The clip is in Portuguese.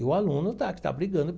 E o aluno está que está brigando.